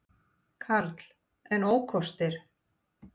Karl: En ókostir?